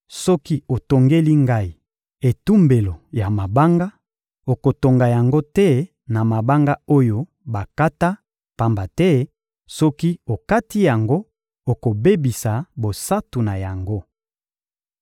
Soki otongeli Ngai etumbelo ya mabanga, okotonga yango te na mabanga oyo bakata; pamba te soki okati yango, okobebisa bosantu na yango.